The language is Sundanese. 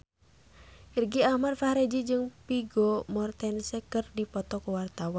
Irgi Ahmad Fahrezi jeung Vigo Mortensen keur dipoto ku wartawan